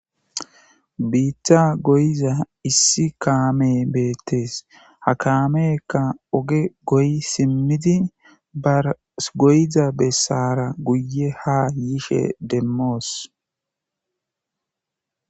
Biita gooyiza issi kaamee be'ettees. Ha kaameeka oge gooyi simmidi, gooyiza bessaara guye ha yishe demmos.